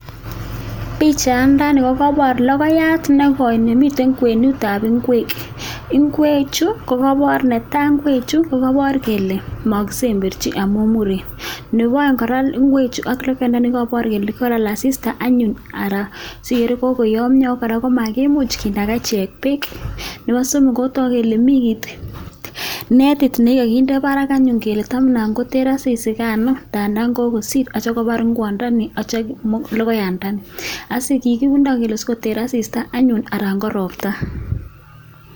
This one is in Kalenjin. Pichayandani kokabor lokoyat nekoi nemiten kwenutab ngwek. Ngwechu kokabor netai ngwechu kokabor kole muren nebo aeng kora ngwechu ak lokoyandani kabor kele ngolal asista anyun ara siikere anyun kokoyomio kora makimuch kinaga ichek beek nebo somok kotak kele mii kiit nekikde barak anyun kele tamna koter asisigan taanda kokosir atya kobar ngwondoni atya komong logoyandoni asikikinde sikoter asista anyun anan ko ropta.